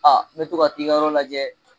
me to ka t'i ka yɔrɔ lajɛ.